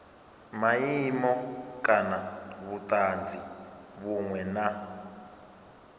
maimo kana vhutanzi vhunwe na